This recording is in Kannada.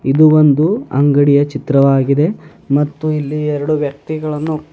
ಇದು ಒಂದು ಅಂಗಡಿಯ ಚಿತ್ರವಾಗಿದೆ ಮತ್ತು ಇಲ್ಲಿ ಎರಡು ವ್ಯಕ್ತಿಗಳನ್ನು--